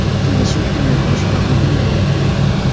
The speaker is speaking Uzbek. Kelishuv qiymati oshkor etilmayapti.